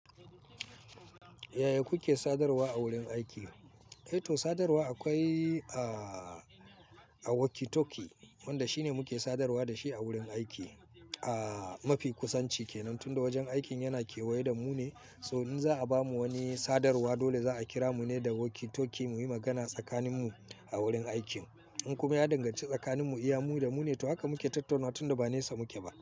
Yaya kuke sadarwa a wurin aiki? To sadarwa akwai walkie talkie wanda shine muke sadarwa da shi a wurin aiki. Mafi kusanci kenan, tunda wajen aikin yana kewaye da mu ne. So in za'a bamu wani sadarwa dole za'a kira mu ne da walkie talkie mu yi magana tsakanin mu a wurin aikin. In kuma ya danganci tsakanin mu iya, mu da mu ne haka muke tattaunawa tunda ba nesa muke ba.